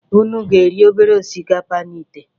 Unu ga-eri obere osikapa dị na ìtè?